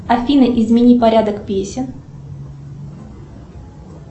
афина измени порядок песен